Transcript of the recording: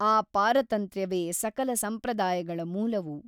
ಆ ಪಾರತಂತ್ರ್ಯವೇ ಸಕಲ ಸಂಪ್ರದಾಯಗಳ ಮೂಲವು.